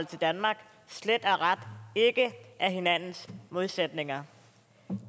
til danmark slet og ret ikke er hinandens modsætninger